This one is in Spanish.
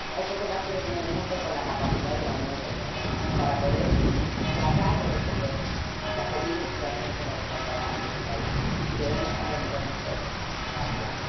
Hay pocos actores en el mundo con la capacidad de la Unión Europea para poder tratar de resolver la terrible situación por la que está atravesando ese país, y debemos comprometernos todos a actuar.